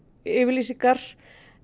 yfirlýsingar